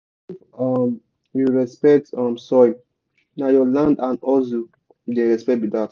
if um you respect um soil na your land and hustle you dey respect be dat.